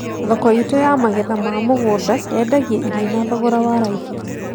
Thoko itũ ya magetha ma mũgũnda yendagia irio na thogoro wa raithi